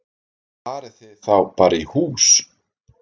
Farið þið þá bara í hús?